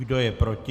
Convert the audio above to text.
Kdo je proti?